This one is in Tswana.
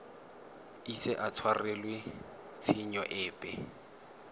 ise a tshwarelwe tshenyo epe